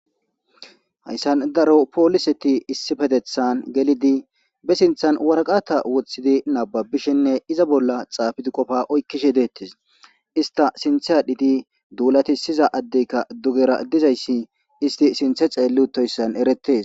Hayssan daro pooliseti issipetethan gelidi be sinthan waraqata woththidi nababishinne iza bolla xaafidi qofa oykkishe deettes ista sinthe adhiti duulati siza addeyka dugera dizayssi isti sinthe xeelli uttoyssan eretees.